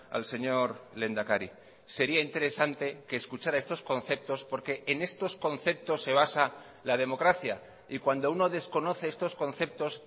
al señor lehendakari sería interesante que escuchara estos conceptos porque en estos conceptos se basa la democracia y cuando uno desconoce estos conceptos